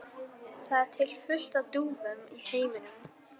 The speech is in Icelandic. Það er til fullt af dúfum í heiminum.